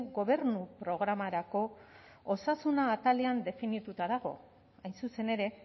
gobernu programarako osasuna atalean definituta dago hain zuzen ere